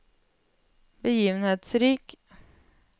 begivenhetsrik